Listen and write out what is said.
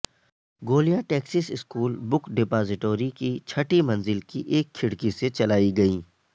گولیاں Texas school book depository کی چھٹی منزل کی ایک کھڑکی سے چلائی گئیں